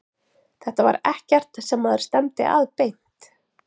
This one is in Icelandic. Þetta var ekkert sem maður stefndi að beint.